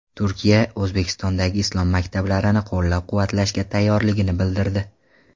Turkiya O‘zbekistondagi islom maktablarini qo‘llab-quvvatlashga tayyorligini bildirdi.